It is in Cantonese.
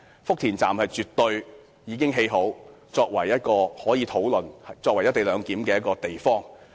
福田站已經建成，我們可討論以其作為"一地兩檢"的地方。